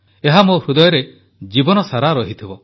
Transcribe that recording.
ଏହା ମୋ ହୃଦୟରେ ଜୀବନସାରା ରହିଥିବ